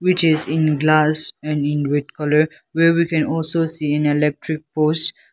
which is in glass and in white colour where we can also see in electric poles.